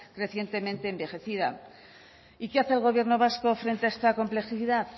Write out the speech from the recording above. recientemente envejecida y qué hace el gobierno vasco frente a esta complejidad